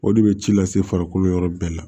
O de bɛ ci lase farikolo yɔrɔ bɛɛ la